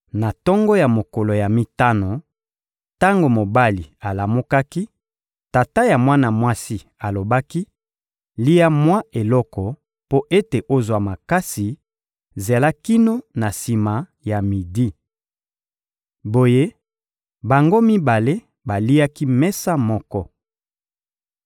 Na tongo ya mokolo ya mitano, tango mobali alamukaki, tata ya mwana mwasi alobaki: «Lia mwa eloko mpo ete ozwa makasi, zela kino na sima ya midi.» Boye, bango mibale baliaki mesa moko.